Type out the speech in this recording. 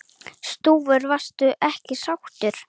Stúfur: Varstu ekki sáttur?